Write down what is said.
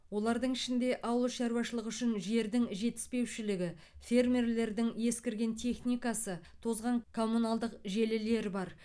олардың ішінде ауыл шаруашылығы үшін жердің жетіспеушілігі фермерлердің ескірген техникасы тозған коммуналдық желілер бар